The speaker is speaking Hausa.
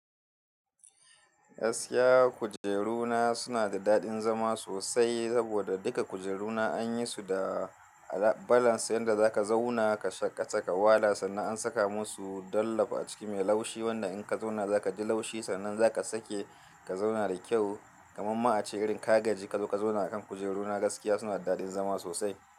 Gaskiya kujeru na suna da daɗin zama sosai saboda duka kujeru na an yi su da balance, yanda za ka zauna ka shaƙata ka wala sannan an saka musu dallop a ciki mai laushi wanda in ka zauna za ka ji laushi, sannan za ka sake ka zauna da kyau. Kaman ma a ce irin ka gaji ka zo ka zauna akan kujeru na gaskiya suna da daɗin zama sosai.